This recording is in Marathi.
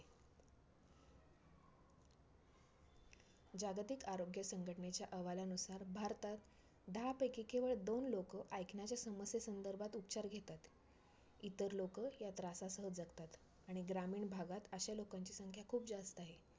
IPL मध्ये आता अनेक तरुणांना chance भेटतो ते पण खुप चागले करतात IPL मध्ये दोन cap असतात एक orange आणि purple